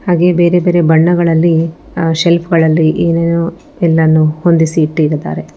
ಹಾಗೆ ಬೇರೆ ಬೇರೆ ಬಣ್ಣಗಳಲ್ಲಿ ಅ ಸೆಲ್ಫ್ ಗಳಲ್ಲಿ ಏನೇನೋ ಎಲ್ಲಾನು ಹೊಂದಿಸಿ ಇಟ್ಟಿರುತ್ತಾರೆ.